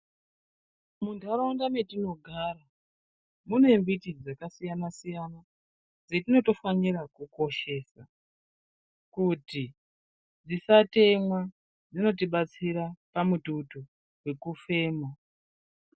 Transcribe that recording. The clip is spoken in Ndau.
Muntaraunda metinogara, mune miti dzakasiyana-siyana dzetinotofanira kukoshesa kuti dzisatemwa dzinotibatsira pamututu nekufema